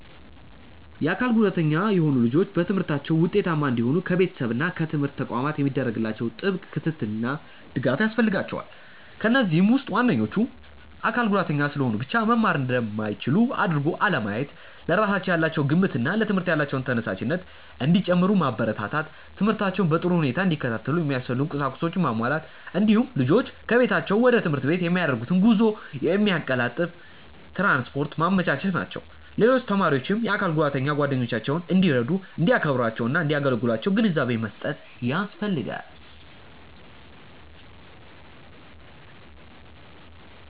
የአካል ጉዳተኛ የሆኑ ልጆች በትምህርታቸው ውጤታማ እንዲሆኑ ከቤተሰብ እና ከትምህርት ተቋማት የሚደረግላቸው ጥብቅ ክትትልና ድጋፍ ያስፈልጋቸዋል። ከነዚህም ውስጥ ዋነኞቹ:- አካል ጉዳተኛ ስለሆኑ ብቻ መማር እንደማይችሉ አድርጎ አለማየት፣ ለራሳቸው ያላቸው ግምትና ለትምህርት ያላቸው ተነሳሽነት እንዲጨምር ማበረታታት፣ ትምህርታቸውን በጥሩ ሁኔታ እንዲከታተሉ የሚያስፈልጉ ቁሳቁሶችን ማሟላት፣ እንዲሁም ልጆቹ ከቤታቸው ወደ ትምህርት ቤት የሚያደርጉትን ጉዞ የሚያቀላጥፍ ትራንስፖርት ማመቻቸት ናቸው። ሌሎች ተማሪዎችም የአካል ጉዳተኛ ጓደኞቻቸውን እንዲረዱ፣ እንዲያከብሯቸውና እንዳያገሏቸው ግንዛቤ መስጠት ያስፈልጋል።